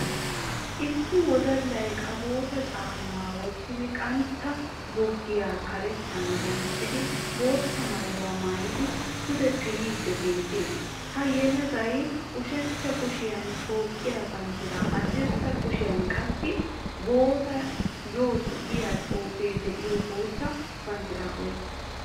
Issi wodalay qàbootta caamma woottidi qantta boogiya kareettan danccidi bootta maayuwa maayidi puude piriidi beettees. Ha yeelagayi ushshaacha kuushshiyan Toophphiya banddiraa haadirssa kushiyan qaassi boss yoss giyaa xuufee de"iyo bootta banddiraa oyqqiis.